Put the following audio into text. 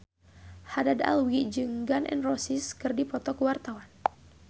Haddad Alwi jeung Gun N Roses keur dipoto ku wartawan